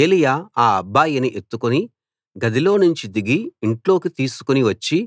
ఏలీయా ఆ అబ్బాయిని ఎత్తుకుని గదిలోనుంచి దిగి ఇంట్లోకి తీసుకు వచ్చి